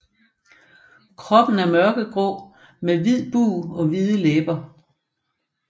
Kroppen er mørkegrå med hvid bug og hvide læber